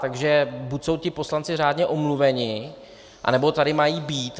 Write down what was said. Takže buď jsou ti poslanci řádně omluveni, anebo tady mají být.